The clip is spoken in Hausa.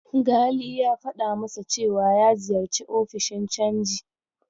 Gali ya faɗa masa cewa ya ziyarci ofishin canji.